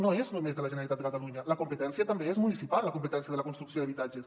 no és només de la generalitat de catalunya la competència també és municipal la competència de la construcció d’habitatges